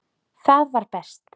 Það var best.